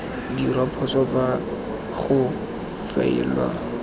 dirwa phoso fa go faelwa